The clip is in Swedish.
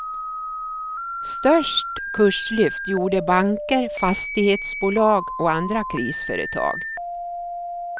Störst kurslyft gjorde banker, fastighetsbolag och andra krisföretag.